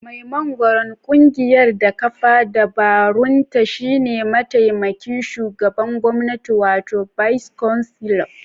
Mai magoran kungiyar da kafa dabarunta shine mataimakin shugaban gwamnati wato Bais Canselo (BC).